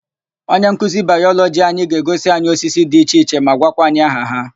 Onyenkuzi Bayọlọgị anyị ga-egosi anyị osisi dị iche iche ma gwakwa anyị aha ha.